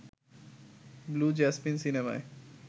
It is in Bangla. ব্লু জেসমিন সিনেমায়